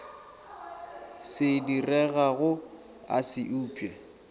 se diregago a se upše